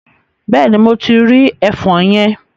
Bẹ́ẹ̀ni, mo ti rí ẹfọn yẹn.